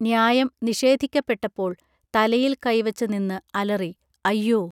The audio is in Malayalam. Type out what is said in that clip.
ന്യായം നിഷേധിക്കപ്പെട്ടപ്പോൾ തലയിൽ കൈവച്ചു നിന്ന് അലറി അയ്യൊ